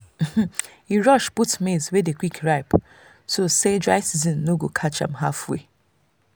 e rush put maize wey dey quick ripe so say dry season no go catch am halfway.